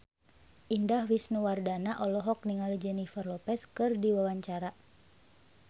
Indah Wisnuwardana olohok ningali Jennifer Lopez keur diwawancara